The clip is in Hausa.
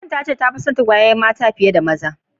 Matan ta ce ta Fi tson mata biyu.